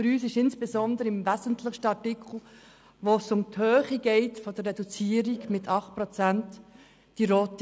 Für uns ist die rote Linie insbesondere im wesentlichsten Artikel überschritten, wo es um die Höhe der Reduzierung über 8 Prozent geht.